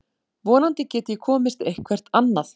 Vonandi get ég komist eitthvert annað.